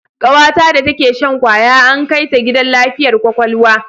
Kawata da take shan kwaya an kai ta gidan lafiyar kwakwalwa